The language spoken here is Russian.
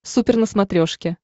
супер на смотрешке